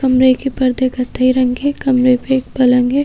कमरे के परधे कथाई रंग के है कमरे पे एक पलंग है।